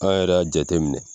An yɛrɛ y'a jate minɛ